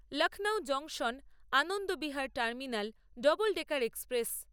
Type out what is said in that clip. Lucknow junction অনন্দবিহার terminal double decker express